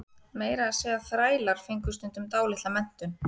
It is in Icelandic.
meira að segja þrælar fengu stundum dálitla menntun